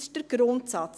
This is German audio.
Das ist der Grundsatz.